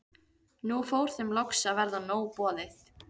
Nú fór þeim loks að verða nóg boðið.